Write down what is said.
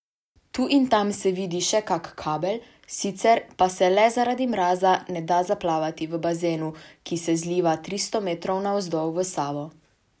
Tu in tam se vidi še kak kabel, sicer pa se le zaradi mraza ne da zaplavati v bazenu, ki se zliva tristo metrov navzdol v Savo.